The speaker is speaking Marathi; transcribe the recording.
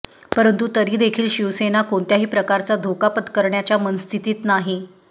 परंतु तरी देखील शिवसेना कोणत्याही प्रकारचा धोका पत्करणाच्या मनस्थितीत नाही